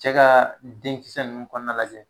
Cɛ ka denkisɛ ninnu kɔnɔna lajɛ.